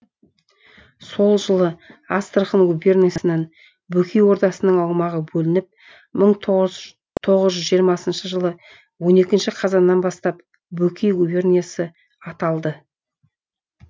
сол жылы астрахан губерниясынан бөкей ордасының аумағы бөлініп мың тоғыз жүз жиырмасыншы жылы он екінші қазанынан бастап бөкей губерниясы аталды